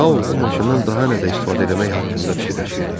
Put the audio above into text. Tao bu maşından daha nədə istifadə eləmək haqqında fikirləşirdi.